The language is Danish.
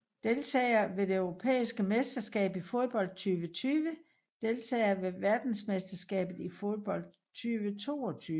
Deltagere ved det europæiske mesterskab i fodbold 2020 Deltagere ved verdensmesterskabet i fodbold 2022